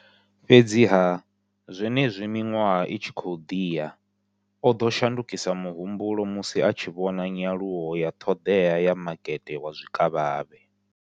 Fhedziha, zwenezwi miṅwaha i tshi khou ḓi ya, o ḓo shandukisa muhumbulo musi a tshi vhona nyaluwo ya ṱhoḓea ya makete wa zwikavhavhe.